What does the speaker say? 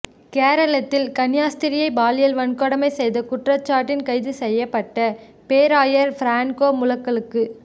கேரளத்தில் கன்னியாஸ்திரியை பாலியல் வன்கொடுமை செய்த குற்றச்சாட்டில் கைது செய்யப்பட்ட பேராயா் ஃபிரான்கோ முலக்கலுக்கு